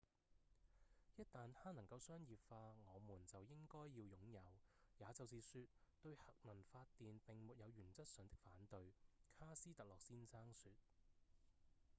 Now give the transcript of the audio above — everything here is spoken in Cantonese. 「一旦它能夠商業化我們就應該要擁有也就是說對核能發電並沒有原則上的反對」卡斯特洛先生說